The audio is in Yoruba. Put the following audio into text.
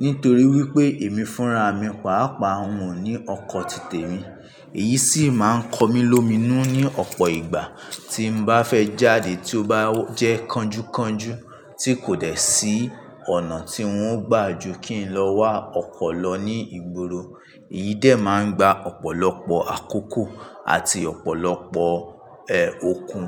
Nítorí wípé èmi fúnra mi pàápàá òun o ní ọkọ̀ titẹ̀ mi, èyí sì máa ń kọ mí lómìnú ní ọ̀pọ̀ ìgbà tí n bá fẹ́ jáde tí ó bá jẹ́ kánjúkánjú tí kò dẹ̀ sí ọ̀nà tí n ó gbà ju kí n lọ wá ọkọ̀ lọ ní ìgboro. Èyí dé máa ń gba ọ̀pọ̀lọpọ̀ àkókò àti ọ̀pọ̀lọpọ̀ okùn.